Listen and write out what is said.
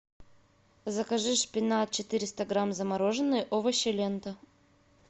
закажи шпинат четыреста грамм замороженные овощи лента